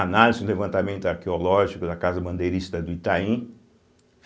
Análise do levantamento arqueológico da Casa Bandeirista do Itaim.